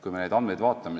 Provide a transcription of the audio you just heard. Vaatame andmeid.